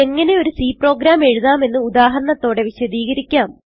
എങ്ങനെ ഒരു C program എഴുതാമെന്ന് ഉദാഹരണത്തോടെ വിശദീകരിക്കാം